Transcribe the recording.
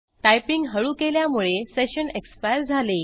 typing हळू केल्यामुळे session expire झाले